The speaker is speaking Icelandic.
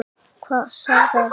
Hvaða saga er það?